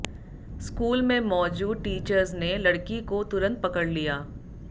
school में मौजूद teachers ने लड़की को तुरंत पकड़ लिया